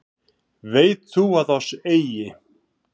Veit þú að oss eigi